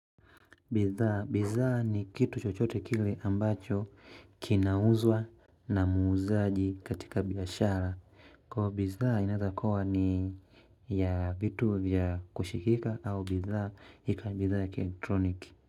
Bidhaa ni kitu chochote kile ambacho kinauzwa na muuzaji katika biashara kwa hiyo bidhaa inaweza kuwa ni ya vitu ya kushikika au bidhaa ikawa bidhaa ya kielektroniki.